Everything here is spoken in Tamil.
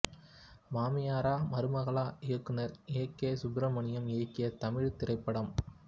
மாமியாரா மருமகளா இயக்குனர் ஏ கே சுப்ரமணியம் இயக்கிய தமிழ்த் திரைப்படம்